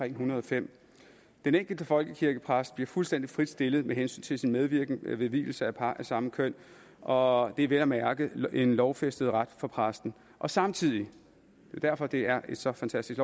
en hundrede og fem den enkelte folkekirkepræst bliver fuldstændig frit stillet med hensyn til sin medvirken ved vielser af par af samme køn og det er vel at mærke en lovfæstet ret for præsten og samtidig det er derfor det er så fantastisk